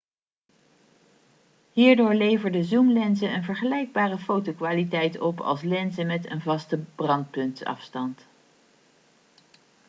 hierdoor leverden zoomlenzen een vergelijkbare fotokwaliteit op als lenzen met een vaste brandpuntsafstand